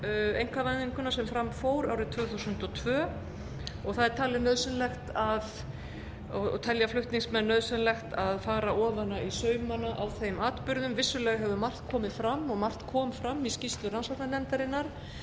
einkavæðinguna sem fram fór árið tvö þúsund og tvö og telja flutningsmenn nauðsynlegt að fara ofan í saumana á þeim atburðum vissulega hefur margt komið fram og margt kom fram í skýrslu rannsóknarnefndarinnar